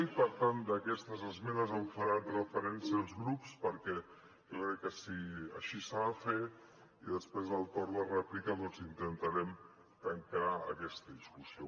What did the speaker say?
i per tant d’aquestes esmenes faran referència els grups perquè jo crec que així s’ha de fer i després al torn de rèplica doncs intentarem tancar aquesta discussió